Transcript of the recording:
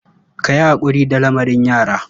Ka yi haƙuri da lamarin yara.